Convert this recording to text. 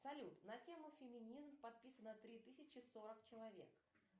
салют на тему феминизм подписано три тысячи сорок человек